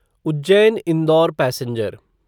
Ujjain Indore passenger